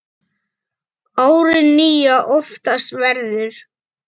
árið nýja oftast verður